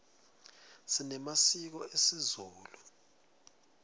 sinemasiko esizulu